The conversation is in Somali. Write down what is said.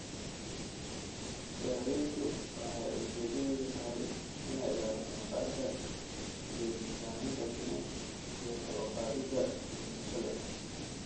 Daaweyntu waxay ujeedadeedu tahay inay ilaaliso maqaarka, joojiso samaynta finan, iyo kor u qaadida bogsashada.